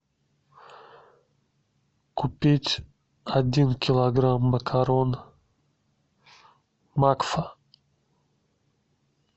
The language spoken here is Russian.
купить один килограмм макарон макфа